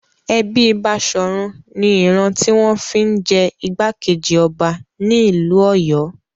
Ẹbí Baṣọ̀run ni ìran tí wọ́n fi ń jẹ ìgbákejì ọba nílùú Ọ̀yọ́.